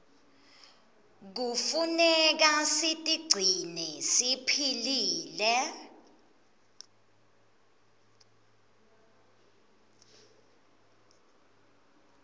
knefuneka sitigcine siphilile